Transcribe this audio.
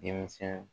Denmisɛn